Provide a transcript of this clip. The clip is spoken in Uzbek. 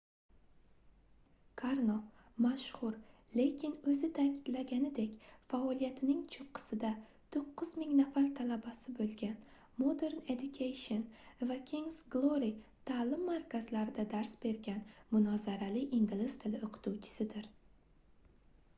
karno mashhur lekin oʻzi taʼkidlaganidek faoliyatining choʻqqisida 9000 nafar talabasi boʻlgan modern education va kingʻs glory taʼlim markazlarida dars bergan munozarali ingliz tili oʻqituvchisidir